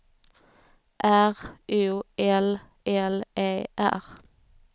R O L L E R